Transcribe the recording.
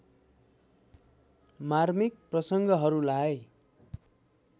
मार्मिक प्रसंगहरूलाई